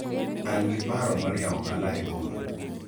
an gi paro mar yawo ohala e boma